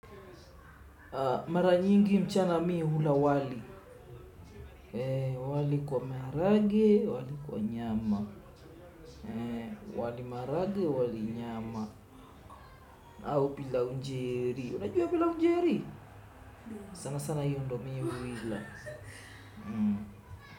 Mara nyingi mchana mi hula wali. Wali kwa maharage, wali kwa nyama. Wali maharage, wali nyama. Au pilau njeri, unajua pilau njeri? Sana sana hiyo ndio mi huila.